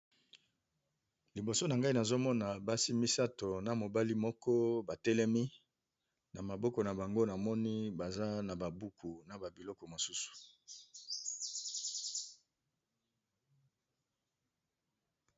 Liboso na nga nazomona basi misatu na mobali moko batelemi na maboko na bango namoni baza na buku na biloko mosusu.